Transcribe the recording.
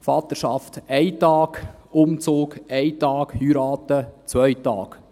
Vaterschaft: 1 Tag, Umzug: 1 Tag, Heirat: 2 Tage.